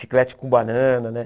Chiclete com banana, né?